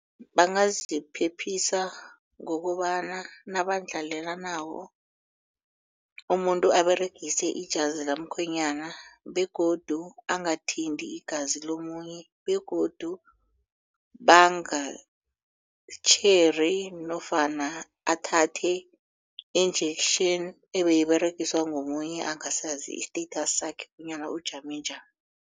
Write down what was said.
Bangaziphephisa ngokobana nabandlalelanako umuntu aberegise ijazi kamkhwenyana begodu angathinti igazi lomunye begodu bangatjheri nofana athathe injection ebeyiberegiswa ngomunye angasazi i-status sakhe bonyana ujame njani.